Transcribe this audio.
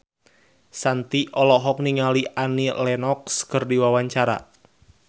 Shanti olohok ningali Annie Lenox keur diwawancara